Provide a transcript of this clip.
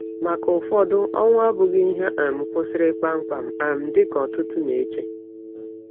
Maka ụfọdụ, ọnwụ abụghị ihe um kwụsịrị kpamkpam um dịka ọtụtụ na-eche.